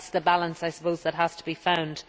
That is the balance that has to be found.